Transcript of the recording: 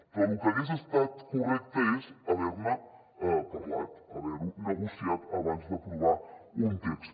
però lo que hagués estat correcte és haver ne parlat haver ho negociat abans d’aprovar un text